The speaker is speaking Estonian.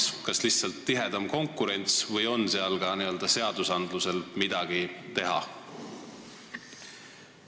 Kas peaks olema lihtsalt tihedam konkurents või on seal võimalik ka seadustega midagi ära teha?